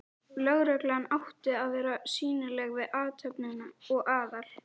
Lögreglan átti að vera sýnileg við athöfnina og Aðal